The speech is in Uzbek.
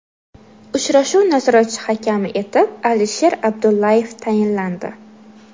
Uchrashuv nazoratchi hakami etib Alisher Abdullayev tayinlandi.